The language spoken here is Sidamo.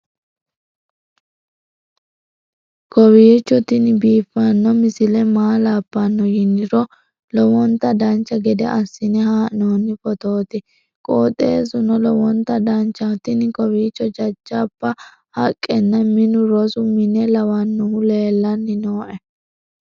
kowiicho tini biiffanno misile maa labbanno yiniro lowonta dancha gede assine haa'noonni foototi qoxeessuno lowonta danachaho. tini kawiicho jajjabba haqqenna minu rosu mine lawannohu leellanni nooe